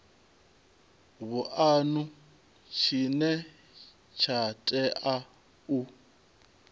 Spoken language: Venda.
vhuanu tshine tsha tea u